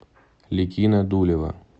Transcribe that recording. ликино дулево